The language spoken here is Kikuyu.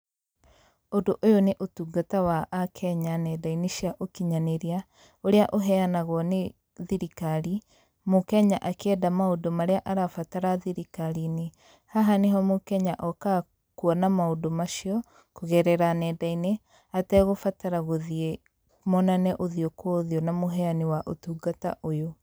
Ũndũ ũyũ nĩ ũtungata wa a kenya nenda-inĩ cia ũkinyanĩria, ũria ũhenyanagwo nĩ thirikari, mũkenya akĩenda maũndũ marĩa arabatara thirikari-inĩ. Haha nĩ ho mũkenya okaga kuona maũndũ macio kũgerera nenda-inĩ ategũbatara gũthiĩ monane ũthiũ kwa ũthiũ na mũhenyani wa ũtungata ũyũ.